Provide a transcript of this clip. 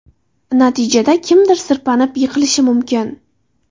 Natijada kimdir sirpanib, yiqilishi mumkin.